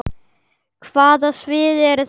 Hvaða svið eru þetta?